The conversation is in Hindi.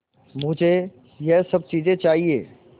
मुझे यह सब चीज़ें चाहिएँ